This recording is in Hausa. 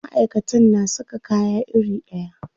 Maʼaikatan na saka kaya iri ɗaya.